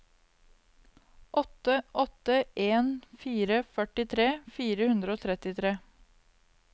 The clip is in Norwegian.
åtte åtte en fire førtitre fire hundre og trettitre